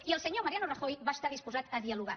i el senyor mariano rajoy va estar disposat a dialogar